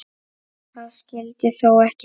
Það skyldi þó ekki vera?